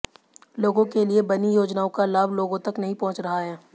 लोगों के लिए बनी योजनाओं का लाभ लोगों तक नहीं पहुंच रहा है